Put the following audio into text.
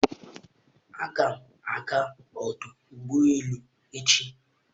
Aga m aga ọdụ ụgbọ elu echi.